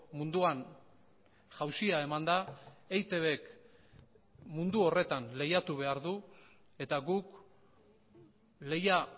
munduan jausia eman da eitbk mundu horretan lehiatu behar du eta guk lehia